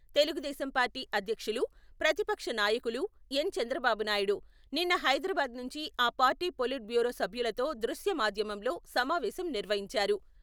Telugu Desam party అధ్యక్షులు, ప్రతిపక్ష నాయకులు ఎన్. చంద్రబాబు నాయుడు నిన్న హైదరాబాద్ నుంచి ఆ పార్టీ పొలిట్ బ్యూరో సభ్యులతో దృశ్య మాధ్యమంలో సమావేశం నిర్వహించారు.